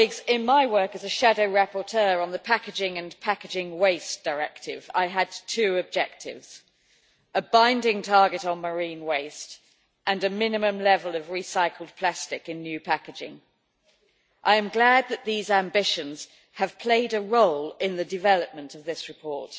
In my work as a shadow rapporteur on the packaging and packaging waste directive, I had two objectives a binding target on marine waste and a minimum level of recycled plastic in new packaging. I am glad that these ambitions have played a role in the development of this report.